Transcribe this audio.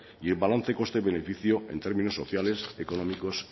y el balance coste beneficio en términos sociales económicos